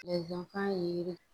kan ye